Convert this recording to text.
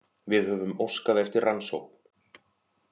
Við höfum óskað eftir rannsókn